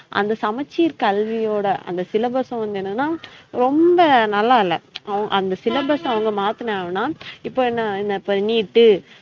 அந்த சமச்சீர் கல்வியோட அந்த syllabus வந்து என்னனா ரொம்ப நல்லாயில்ல அந்த syllabus அவுங்க மாத்துனாவன்னா இப்ப என்ன என்ன இப்ப NEET டு